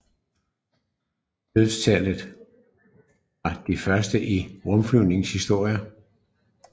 Dødsfaldet var det første i rumflyvningens historie